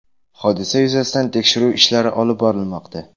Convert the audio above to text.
Hodisa yuzasidan tekshiruv ishlari olib borilmoqda.